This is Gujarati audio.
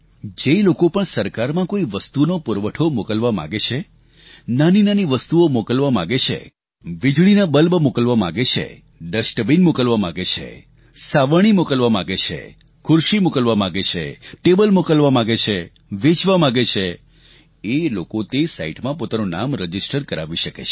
જે લોકો પણ સરકારમાં કોઈ વસ્તુનો પુરવઠો મોકલવા માંગે છે નાનીનાની વસ્તુઓ મોકલવા માંગે છે વીજળીના બલ્બ મોકલવા માંગે છે ડસ્ટબીન મોકલવા માંગે છે સાવરણી મોકલવા માંગે છે ખુરશી મોકલવા માંગે છે ટેબલ મોકલવા માંગે છે વેચવા માંગે છે એ લોકો તે સાઇટમાં પોતાનું નામ રજીસ્ટર કરાવી શકે છે